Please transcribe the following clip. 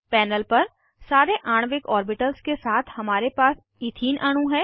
panel पर सारे आणविक ऑर्बिटल्स के साथ हमारे पास इथीन अणु है